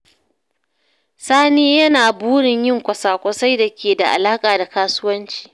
Sani yana burin yin kwasa-kwasai da ke da alaka da kasuwanci.